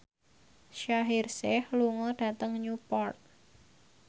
Shaheer Sheikh lunga dhateng Newport